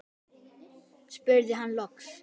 spurði hann loks.